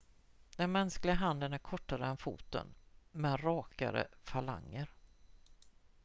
den mänskliga handen är kortare än foten med rakare falanger